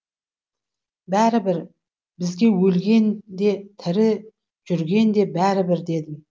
бәрібір бізге өлген де тірі жүрген де бәрібір дедім